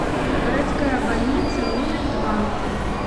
городская больница номер два